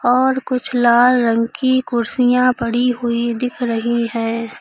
और कुछ लाल रंग की कुर्सियां पड़ी हुई दिख रही है।